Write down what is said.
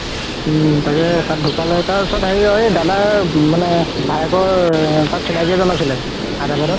উম তাকেই তাৰ ওচৰত হেৰি ঐ দাদাৰ মানে ভাইয়েকৰ চিনাকি এজন আছিলে হায়দৰাবাদত